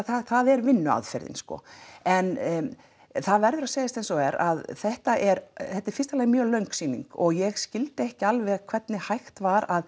það er vinnuaðferðin sko en það verður að segjast eins og er að þetta er í fyrsta lagi mjög löng sýning og ég skildi ekki alveg hvernig hægt var að